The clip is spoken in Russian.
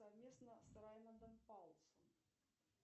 совместно с раймондом паулсом